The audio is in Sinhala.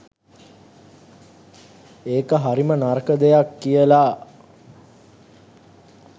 ඒක හරිම නරක දෙයක් කියලා